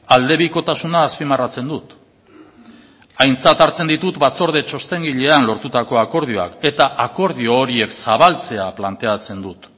aldebikotasuna azpimarratzen dut aintzat hartzen ditut batzorde txostengilean lortutako akordioak eta akordio horiek zabaltzea planteatzen dut